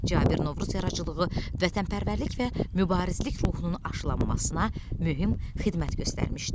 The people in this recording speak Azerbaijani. Cabir Novruz yaradıcılığı vətənpərvərlik və mübarizlik ruhunun aşılanmasına mühüm xidmət göstərmişdir.